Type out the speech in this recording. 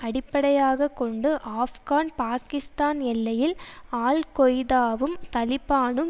அடிப்படையாக கொண்டு ஆப்கான் பாகிஸ்தான் எல்லையில் அல் கொய்தாவும் தலிபானும்